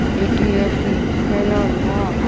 এটি একটি খেলার মাঠ ।